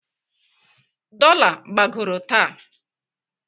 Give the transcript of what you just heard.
Dola gbagoro taa.